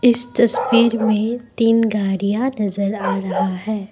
इस तस्वीर में तीन गाड़ियां नज़र आ रहा है।